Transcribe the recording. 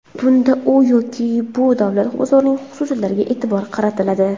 Bunda u yoki bu davlat bozorining xususiyatlariga e’tibor qaratiladi.